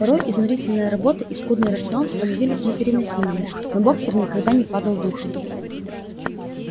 порой изнурительная работа и скудный рацион становились непереносимыми но боксёр никогда не падал духом